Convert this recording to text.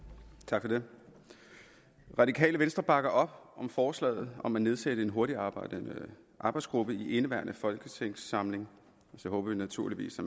tak for det radikale venstre bakker op om forslaget om at nedsætte en hurtigarbejdende arbejdsgruppe i indeværende folketingssamling og så håber vi naturligvis at